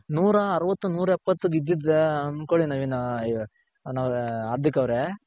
ನೂರ ಅರವತ್ ನೂರೆಪ್ಪತ್ ಬಿದ್ದಿದ್ರೆ ಅನ್ಕೊಳ್ಳಿ ನವೀನ್ ಅಯ್ಯೋ ಹಾರ್ದಿಕ್ ಅವ್ರೆ.